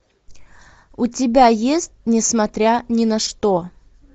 у тебя есть несмотря ни на что